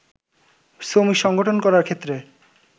শ্রমিক সংগঠন করার ক্ষেত্রে